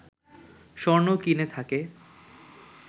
স্বর্ণ কিনে থাকে